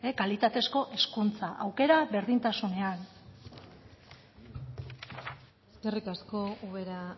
kalitatezko hezkuntza aukera berdintasunean eskerrik asko ubera